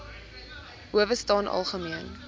howe staan algemeen